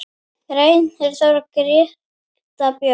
Reynir Þór og Greta Björg.